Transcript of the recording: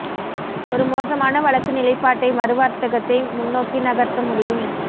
ஒரு மோசமான வழக்கு நிலைப்பாட்டை மறு வர்த்தகத்தை முன்னோக்கி நகர்த்த முடியும்